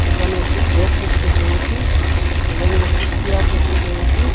এখানে একটি ব্যাগ দেখতে পেয়েছি এখানে একটি শিয়ার দেখতে পেয়েছি।